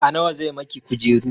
A nawa zai miki kujeru?